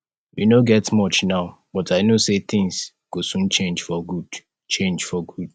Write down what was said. we no get much now but i no say things go soon change for good change for good